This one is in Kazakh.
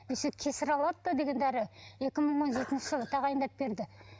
еще деген дәрі екі мың он жетінші жылы тағайындап берді